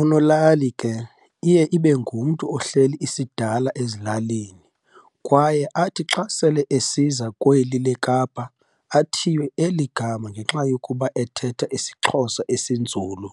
unolali ke iye ibengumntu ohleli isidala ezilalini kwaye athi xa sele esiza kweli lekapa athiywe eligama ngenxa yokuba ethetha isixhosa esinzulu